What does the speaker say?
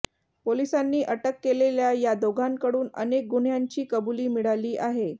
पोलिसांनी अटक केलेल्या या दोघांकडून अनेक गुन्ह्यांची कबुली मिळाली आहे